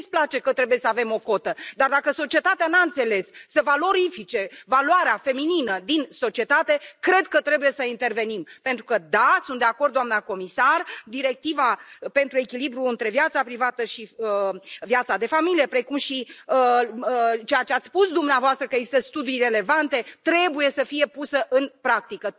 Mie îmi displace că trebuie să avem o cotă, dar dacă societatea n a înțeles să valorifice valoarea feminină din societate, cred că trebuie să intervenim, pentru că da, sunt de acord, doamnă comisar, directiva pentru echilibrul între viața privată și viața de familie, precum și ceea ce ați spus dumneavoastră, că există studii relevante, trebuie să fie puse în practică.